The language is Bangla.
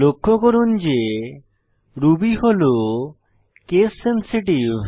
লক্ষ্য করুন যে রুবি হল কেস সেন্সিটিভ